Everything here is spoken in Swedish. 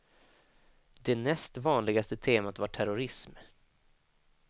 Det näst vanligaste temat var terrorism.